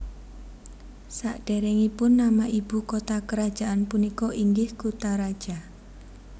Sadéréngipun nama ibu kota kerajaan punika inggih Kutaraja